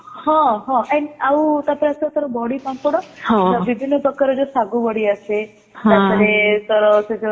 ହଁ ହଁ and ଆଉ ତାପରେ ଆସିଲା ତୋର ବଡି ପାମ୍ପଡ ବିଭିନ୍ନ ପ୍ରକାର ଜୋ ସାଗୁ ବଡି ଆସେ ତାପରେ ତାର ସେ